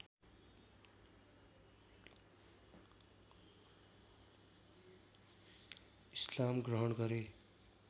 इस्लाम ग्रहण गरे